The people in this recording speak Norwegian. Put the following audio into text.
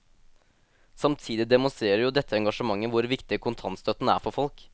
Samtidig demonstrerer jo dette engasjementet hvor viktig kontantstøtten er for folk.